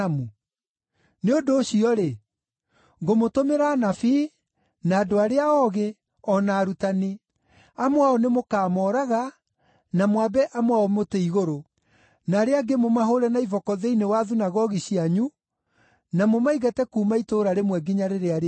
Nĩ ũndũ ũcio-rĩ, ngũmũtũmĩra anabii, na andũ arĩa oogĩ, o na arutani. Amwe ao nĩmũkamooraga na mwambe amwe ao mũtĩ-igũrũ, na arĩa angĩ mũmahũũre na iboko thĩinĩ wa thunagogi cianyu na mũmaingate kuuma itũũra rĩmwe nginya rĩrĩa rĩngĩ.